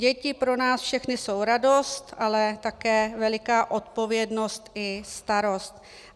Děti pro nás všechny jsou radost, ale také veliká odpovědnost i starost.